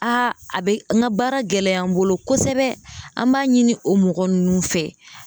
Aa a bɛ n ka baara gɛlɛya n bolo kosɛbɛ, an b'a ɲini o mɔgɔ ninnu fɛ.